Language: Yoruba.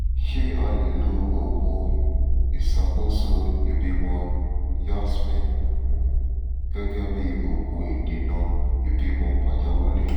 ṣé a lè lo òògùn ìṣàkóso ìbímọ yasmin um gẹ́gẹ́ bí òògùn ìdènà ìbímọ pàjáwìrì?